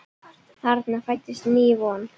Þarna fæddist ný von.